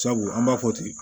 Sabu an b'a fɔ ten